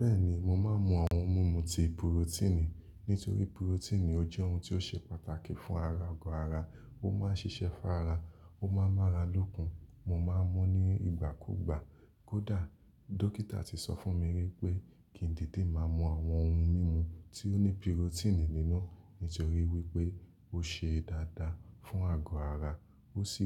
Bẹ́ẹ̀ni, mo máa ń mu àwọn ohun mímu ti purotíìnì, nítorí purotíìnì ó jẹ́ ohun tó ṣe pàtàkì fún ara agọ ara, ó máa ń ṣiṣẹ́ fún ara, ó máa ń mára lókun, mo máa ń mú nígbà kúgbà. Kódà, dókítà ti sọ fún mi wípé kí ń dìidi máa mú àwọn ohun mímu tí ó ní purotíìnì nínú, nítorí wípé ó ṣe dáadáa fún àgọ́ ara ó sì